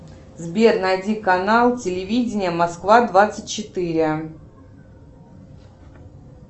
сбер найди канал телевидения москва двадцать четыре